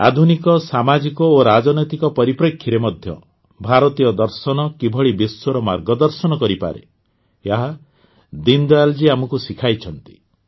ଆଧୁନିକ ସାମାଜିକ ଓ ରାଜନୈତିକ ପରିପ୍ରେକ୍ଷୀରେ ମଧ୍ୟ ଭାରତୀୟ ଦର୍ଶନ କିଭଳି ବିଶ୍ୱର ମାର୍ଗଦର୍ଶନ କରିପାରେ ଏହା ଦୀନଦୟାଲ ଆମକୁ ଶିଖାଇଛନ୍ତି